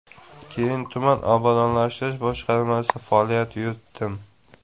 Keyin tuman obodonlashtirish boshqarmasida faoliyat yuritdim.